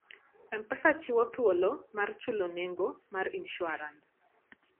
M-Pesa chiwo thuolo mar chulo nengo mar insuarans.